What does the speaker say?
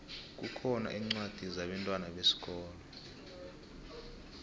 kukhona incwadi zabentwana besikolo